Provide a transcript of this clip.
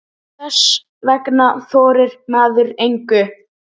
Þess vegna þorir maður engu.